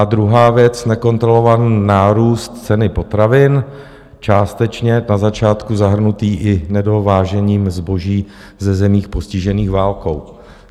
A druhá věc, nekontrolovaný nárůst ceny potravin, částečně na začátku zahrnutý i nedovážením zboží ze zemích postižených válkou.